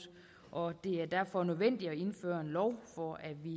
og det er derfor nødvendigt at indføre en lov for at vi